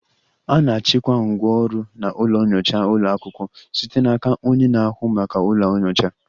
A na-achịkwa ngwá ọrụ na ụlọ nyocha ụlọ akwụkwọ site n'aka onye na-ahụ maka ụlọ nyocha